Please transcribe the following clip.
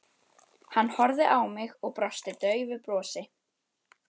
Hann horfði á mig og brosti daufu brosi.